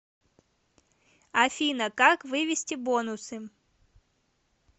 афина как вывести бонусы